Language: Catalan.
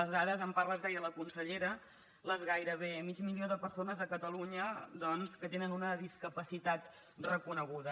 les dades en part les deia la consellera el gairebé mig milió de persones a catalunya doncs que tenen una discapacitat reconeguda